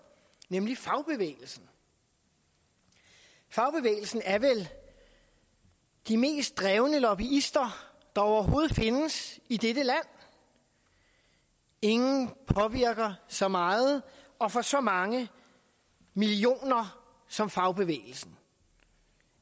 nemlig fagbevægelsen fagbevægelsen er vel de mest drevne lobbyister der overhovedet findes i dette land ingen påvirker så meget og for så mange millioner som fagbevægelsen